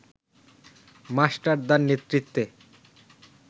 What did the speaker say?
মাস্টারদার নেতৃত্বে